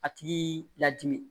A tigi la dimi